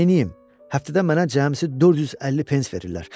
Amma neyləyim ki, həftədə mənə cəmisi 450 pens verirlər.